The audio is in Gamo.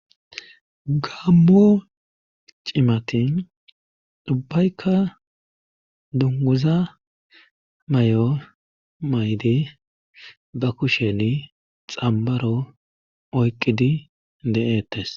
gammo cimatin ubbaykka dunguza may7o maydi ba kushen xambaro oyqqidi de7ettes